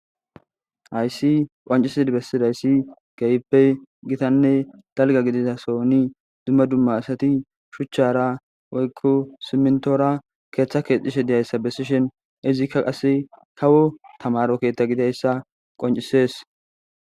Hayssi qoncisid bessidayssi geyppe gitanne dalga giditasoni dumma dumma asati shuchchara woykko simintora keeththa keexxishe diyayssa bessishen izikka qase kawo tamaro keeththa gidayssa qoncisees.